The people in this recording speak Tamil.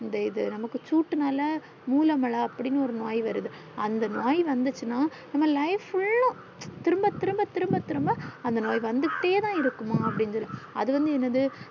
இந்த இது நமக்கு சூட்டுன்னால முழமளா அப்டின்னு ஒரு நோய் வருது அந்த நோய் வந்துச்சின்ன நம்ம life full அஹ் திரும்ப திரும்ப திரும்ப திரும்ப அந்த நோய் வந்துட்டேதான் இருக்கும்மா